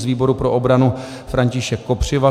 Z výboru pro obranu František Kopřiva.